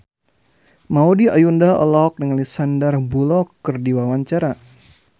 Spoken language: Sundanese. Maudy Ayunda olohok ningali Sandar Bullock keur diwawancara